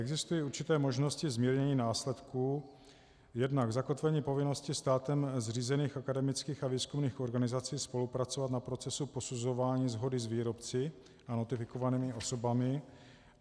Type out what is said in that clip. Existují určité možnosti zmírnění následků jednak zakotvením povinnosti státem zřízených akademických a výzkumných organizací spolupracovat na procesu posuzování shody s výrobci a notifikovanými osobami;